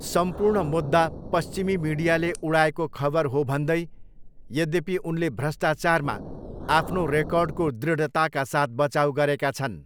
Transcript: सम्पूर्ण मुद्दा 'पश्चिमी मिडियाले उडाएको खबर' हो भन्दै, यद्यपि, उनले भ्रष्टाचारमा आफ्नो रेकर्डको दृढताका साथ बचाउ गरेका छन्।